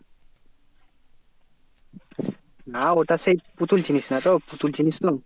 না ওটা সেই পুতুল চিনিস না তো পুতুল চিনিস তো?